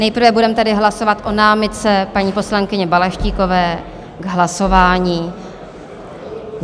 Nejprve budeme tedy hlasovat o námitce paní poslankyně Balaštíkové k hlasování.